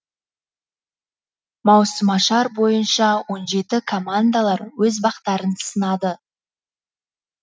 маусымашар бойынша он жеті командалар өз бақтарын сынады